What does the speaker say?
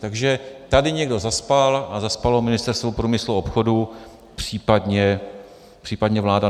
Takže tady někdo zaspal, a zaspalo Ministerstvo průmyslu a obchodu, případně vláda.